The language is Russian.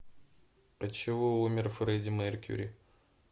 от чего умер фредди меркьюри